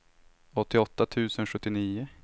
åttioåtta tusen sjuttionio